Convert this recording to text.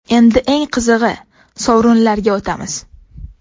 Endi eng qizig‘i, sovrinlarga o‘tamiz!